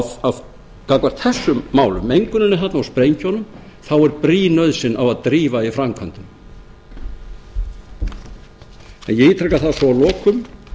gagnvart þessum málum menguninni þarna og sprengjunum þá er brýn nauðsyn á að drífa í framkvæmdum ég ítreka það svo að lokum